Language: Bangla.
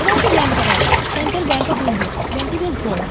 এখানে একটি ব্যাঙ্ক দেখা যাচ্ছে। Central bank of India bank টি বেশ বড়।